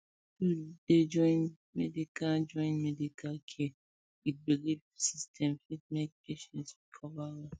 to dey join medical join medical care with belief system fit make patient recover well